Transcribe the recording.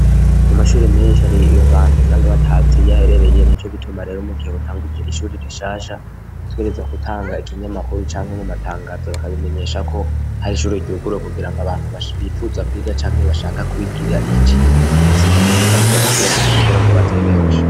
Mu mashure menshi hariho abantu usanga batazi iyo aherereye nico gituma rero mu gihe utanguje ishuri rishasha utegerezwa gutanga ikinyamakuru canke ugatangaza bakabimenyeshako hari ishuri ryuguruwe kugira ngo abantu bifuza kwiga canke bashaka kwigira icigwa uba ufise bakaza kwiyandikisha kugira ngo baze ari benshi.